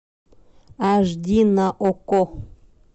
аш ди на окко